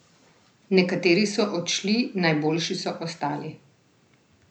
Nekateri so odšli, najboljši so ostali.